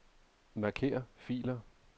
Marker filer.